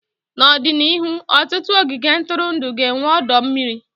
N'ọdịnihu, ọtụtụ ogige ntụrụndụ ga-enwe ọdọ mmiri.